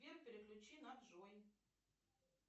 сбер переключи на джой